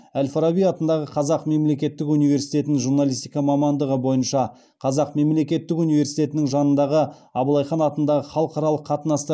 әл фараби атындағы қазақ мемлекеттік университетін журналистика мамандығы бойынша қазақ мемлекеттік университетінің жанындағы абылайхан атындағы халықаралық қатынастар